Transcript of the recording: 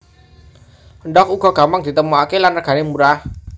Endhog uga gampang ditemokaké lan regané murah